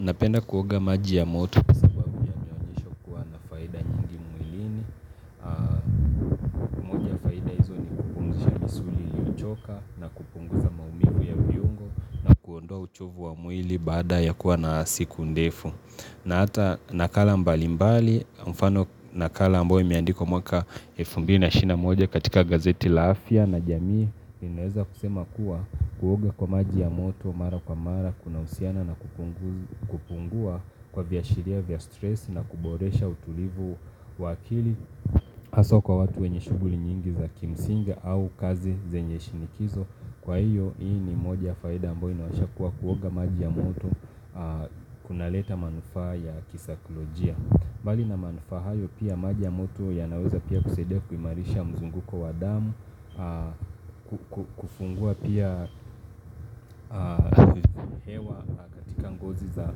Napenda kuoga maji ya moto kwa sababu ya uchovu wa faida nyingi mwilini bada ya kuwa na siku ndefu. Na ata nakala mbali mbali, mfano nakala ambayo imeandikwa mwaka elfu mbili na ishirini naa moja** unaudible** katika gazeti Laafia na jamii. Ineza kusema kuwa kuoga kwa maji ya moto mara kwa mara kuna usiana na kupungua kwa vya shiria vya stress na kuboresha utulivu wa akili. Haso kwa watu wenye shuguli nyingi za kimsinga au kazi zenye shinikizo Kwa hiyo hii ni moja faida ambayo inayonyesha kuwa kuoga maji ya moto kunaleta manufaa ya kisaikolojia mbali na manufaa hayo pia maji ya moto ya naweza pia kusaidia kuimarisha mzunguko wa damu kufungua pia hewa katika ngozi za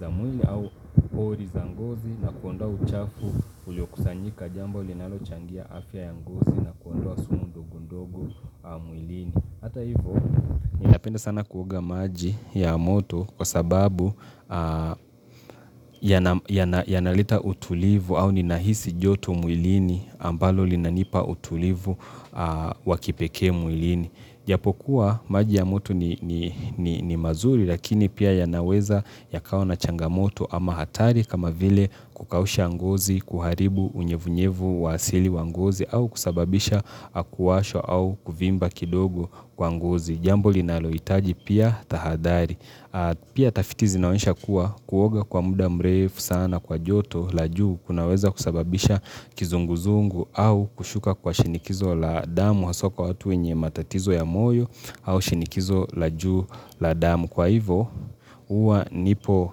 za mwili au pori za ngozi na kuondoa uchafu ulio kusanyika jambo linalo changia afya ya ngozi na kuondoa sumu ndogo ndogo mwilini. Hata hivyo, ni napenda sana kuoga maji ya moto kwa sababu yanaleta utulivu au ninahisi joto mwilini ambalo linanipa utulivu wakipekee mwilini. Japokuwa maji ya moto ni ni ni ni mazuri lakini pia yanaweza ya kawa na changa moto ama hatari kama vile kukausha ngozi kuharibu unyevunyevu wasili wangozi au kusababisha kuwashwa au kuvimba kidogo kwa ngozi Jambo linalohitaji pia tahadhari Pia tafiti zinaonyesha kuwa kuoga kwa muda mrefu sana kwa joto la juu kunaweza kusababisha kizunguzungu au kushuka kwa shinikizo la damu haswa kwa watu wenye matatizo ya moyo au shinikizo la juu la damu Kwa hivo uwa nipo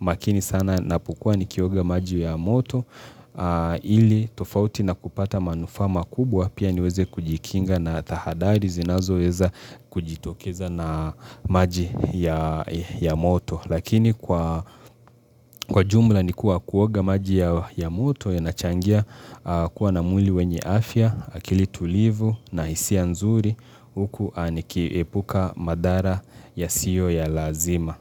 makini sana napokuwa nikioga maji ya moto ili tofauti na kupata manufa makubwa pia niweze kujikinga na tahadhari zinazo weza kujitokeza na maji ya moto. Lakini kwa jumla nikuwa kuoga maji ya moto ya nachangia kuwa na mwili wenye afya, akili tulivu na hisia nzuri uku aniki epuka madara ya siyo ya lazima.